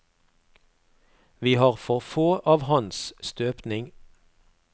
Vi har for få av hans støpning.